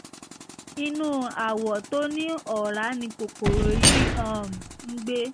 inú awọ tó ní ọ̀rá ni kòkòrò yìí um ń gbé